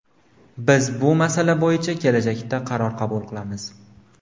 Biz bu masala bo‘yicha kelajakda qaror qabul qilamiz”.